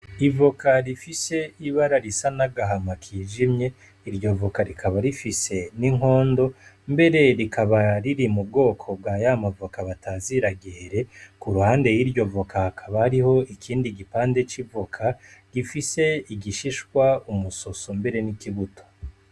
Ivoka rifise ibara risa n'agahama kijimye iryovoka rikaba rifise n'inkondo mbere rikaba riri mu bwoko bwa yamavoka batazira gihere ku ruhande y'iryovoka hakaba ariho ikindi gipande c'ivoka gifise igishishwa umusoso mbere n'ikibuto.